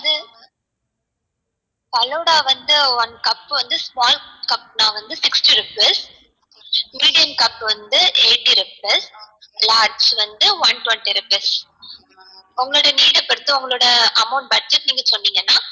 falooda வந்து one cup வந்து small cup னா வந்து sixty rupees medium cup வந்து eighty rupees large வந்து one twenty rupees உங்களோட need ஆ பொறுத்து உங்களோட amount budget நீங்க சொன்னிங்கனா